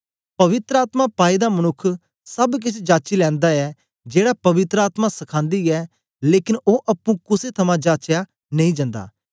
पवित्र आत्मा पाए दा मनुक्ख सब केछ जाची लैंदा ऐ जेड़ा पवित्र आत्मा सखान्दी ऐ लेकन ओ अप्पुं कुसे थमां जाचया नेई जन्दा